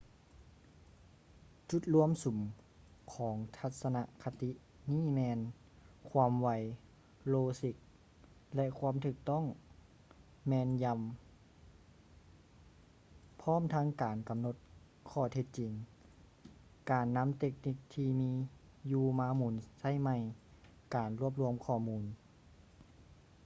ຈຸດລວມສຸມຂອງທັດສະນະຄະຕິນີ້ແມ່ນ ຄວາມໄວ ໂລຊິກ ແລະ ຄວາມຖືກຕ້ອງແມ່ນຢຳ ພ້ອມທັງການກຳນົດຂໍ້ເທັດຈິງ ການນຳເຕັກນິກທີ່ມີຢູ່ມາໝູນໃຊ້ໃໝ່ ການລວບລວມຂໍ້ມູນ